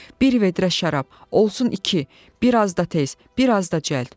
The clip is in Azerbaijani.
Bir vedrə şərab, olsun iki, bir az da tez, bir az da cəld.